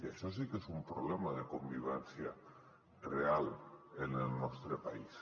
això sí que és un problema de convivència real en el nostre país